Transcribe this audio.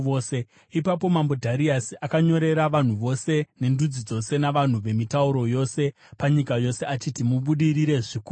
Ipapo Mambo Dhariasi akanyorera vanhu vose, nendudzi dzose navanhu vemitauro yose panyika yose achiti: “Mubudirire zvikuru kwazvo!